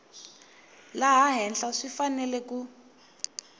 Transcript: laha henhla swi fanele ku